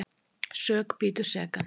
Sök bítur sekan.